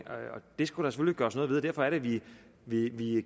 det skulle gøres noget ved og derfor er det vi